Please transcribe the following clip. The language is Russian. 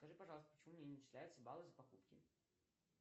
скажи пожалуйста почему мне не начисляются баллы за покупки